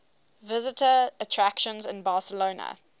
visitor attractions in barcelona